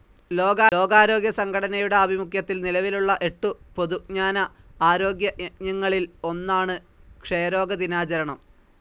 ലോകാരോഗ്യസംഘടനയുടെ ആഭിമുഖ്യത്തിൽ നിലവിലുള്ള എട്ടു പൊതുജ്ഞാന ആരോഗ്യ യജ്ഞങ്ങളിൽ ഒന്നാണ് ക്ഷയരോഗ ദിനാചരണം.